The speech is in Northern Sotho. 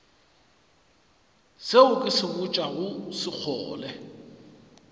seo ke se botšago sekgole